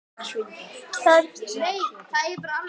Það gerum við öll.